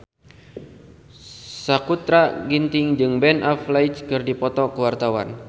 Sakutra Ginting jeung Ben Affleck keur dipoto ku wartawan